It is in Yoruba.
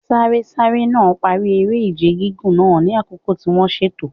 Sárésáré náà parí eré-ìje gígùn náà ní àkókò tí wọ́n ṣètò.